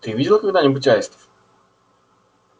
ты видел когда-нибудь аистов